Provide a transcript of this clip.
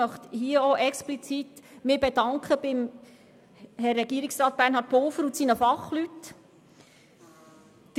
Dafür möchte ich mich explizit bei Herrn Regierungsrat Bernhard Pulver und seinen Fachleuten bedanken.